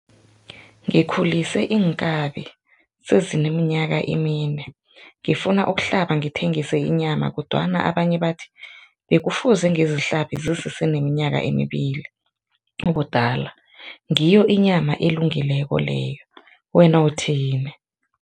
Ngikhulise iinkabi sezineminyaka emine, ngifuna ukuhlaba ngithengisa inyama kodwana abanye bathi bekufuze ngizihlabe zisese neminyaka emibili ubudala ngiyo inyama elungileko leyo, wena uthini?